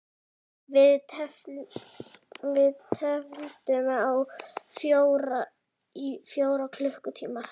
Við tefldum í fjóra klukkutíma!